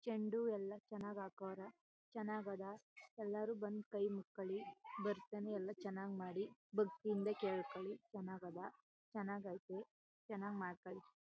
ಚಂಡು ಎಲ್ಲಾ ಚನ್ನಾಗಿ ಹಾಕೋರ್ ಚನ್ನಾಗ್ ಅದ್ ಎಲ್ಲಾರು ಬಂದಿ ಕೈ ಮುಕ್ಕೊಳಿ. ಬರತ್ತನೆ ಎಲ್ಲಾ ಚನ್ನಾಗಿ ಮಾಡಿ ಭಕ್ತಿಯಿಂದ ಕೆಳಕೋಳಿ ಚನ್ನಾಗ್ ಅದ್ ಚನ್ನಾಗ್ ಐತಿ ಚನ್ನಾಗ್ ಮಾಡಕಳಿ.